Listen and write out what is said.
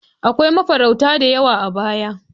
Akwai mafarauta da yawa a baya.